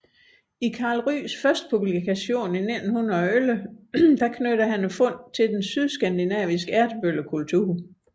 I Karl Ryghs første publikation i 1911 knytter han fundene til den sydskandinaviske ertebøllekultur